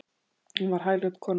Hún var hæglát kona.